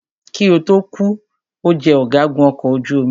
Kí ó tó kù,o jẹ ọ̀gágun ọkọ̀ ojú omi.